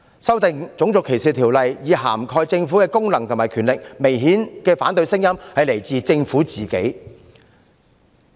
修訂《種族歧視條例》以涵蓋政府的功能和權力，反對聲音明顯來自政府自己。